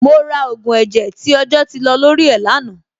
Mo ra ògùn ẹ̀jẹ̀ tí ọjọ́ ti lọ lórí ẹ̀ lánàá.